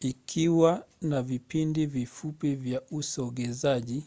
ikiwa na vipindi vifupi vya usogezaji